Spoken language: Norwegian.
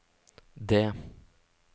det